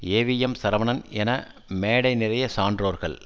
AVM Saravanan என மேடை நிறைய சான்றோர்கள்